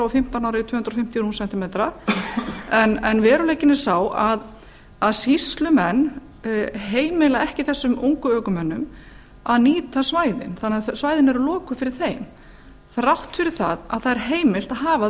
fimmtán ára í tvö hundruð fimmtíu rúm sentí metra en veruleikinn er sá að sýslumenn heimila ekki þessum ungu ökumönnum að nýta svæðin þannig að svæðin eru lokuð fyrir þeim þrátt fyrir að það er heimilt að hafa